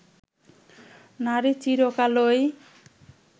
নারী চিরকালই